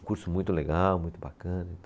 Um curso muito legal, muito bacana.